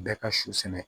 Bɛɛ ka su sɛnɛ